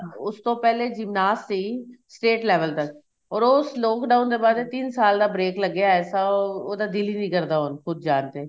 ਉਸ ਤੋਂ ਪਹਿਲੇ gymnast ਸੀ state level ਤੱਕ or ਉਸ lockdown ਦੇ ਬਾਅਦ ਤਿੰਨ ਸਾਲ ਦਾ break ਲੱਗਿਆ ਐਸਾ ਉਹਦਾ ਦਿਲ ਹੀ ਨੀਂ ਕਰਦਾ ਖੁੱਦ ਜਾਂ ਤੇ